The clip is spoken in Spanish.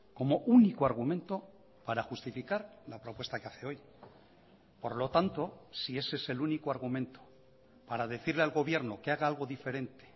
como único argumento para justificar la propuesta que hace hoy por lo tanto si ese es el único argumento para decirle al gobierno que haga algo diferente